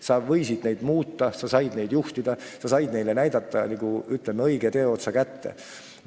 Sa võisid neid muuta, sa said neid juhtida, sa said neile näidata, ütleme, õige teeotsa kätte.